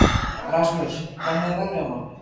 Rasmus, hvernig er veðrið á morgun?